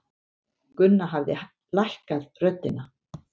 Gunnar hafði lækkað röddina.